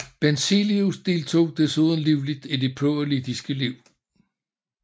Benzelius deltog desuden livligt i det politiske liv